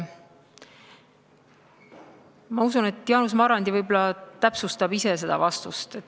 Ma usun, et Jaanus Marrandi võib-olla täpsustab ise seda vastust.